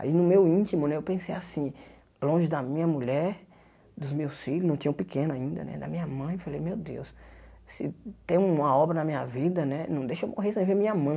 Aí no meu íntimo né, eu pensei assim, longe da minha mulher, dos meus filhos, não tinham pequeno ainda né, da minha mãe, falei, meu Deus, se tem uma obra na minha vida né, não deixa eu morrer sem ver minha mãe.